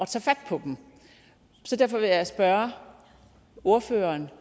tage fat på dem derfor vil jeg spørge ordføreren